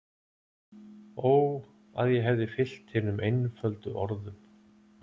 Ó að ég hefði fylgt hinum einföldu orðum